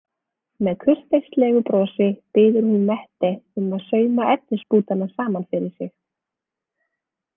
Með kurteislegu brosi biður hún Mette um að sauma efnisbútana saman fyrir sig.